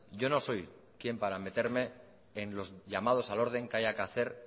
yo no soy quién para meterme en los llamados al orden que haya que hacer